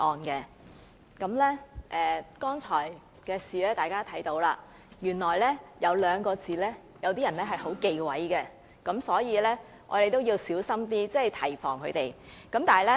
大家看到剛才發生的事情了，原來有些人很忌諱某兩個字，所以，我們要小心一點提防他們。